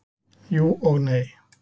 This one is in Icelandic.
Jú, og nei.